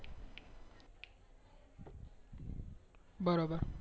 હા બરોબર